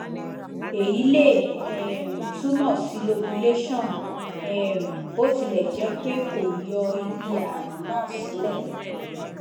èyí le um túmọ sí lobulation um bó tilẹ jẹ jẹ pé kò yọ ibi ààrùn náà silẹ